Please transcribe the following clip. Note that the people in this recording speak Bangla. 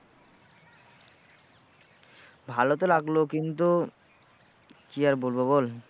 ভালো তো লাগলো কিন্তু কি আর বলবো বল